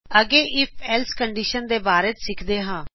ਅੱਗੇ if else condition ਦੇ ਬਾਰੇ ਸਿੱਖਦੇ ਹਾਂ